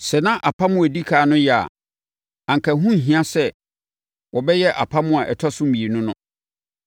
Sɛ na apam a ɛdi ɛkan no yɛ a, anka ɛho nhia sɛ wɔbɛyɛ apam a ɛtɔ so mmienu no.